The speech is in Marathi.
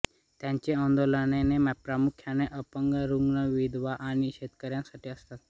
त्यांची आंदोलने प्रामुख्याने अपंग रुग्ण विधवा आणि शेतकऱ्यांसाठी असतात